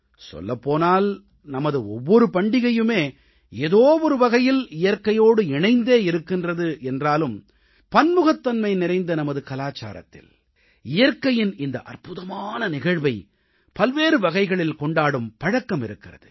சொல்லப் போனால் நமது ஒவ்வொரு பண்டிகையுமே ஏதோ ஒரு வகையில் இயற்கையோடு இணைந்தே இருக்கின்றது என்றாலும் பன்முகத்தன்மை நிறைந்த நமது கலாச்சாரத்தில் இயற்கையின் இந்த அற்புதமான நிகழ்வை பல்வேறு வகைகளில் கொண்டாடும் பழக்கம் இருக்கிறது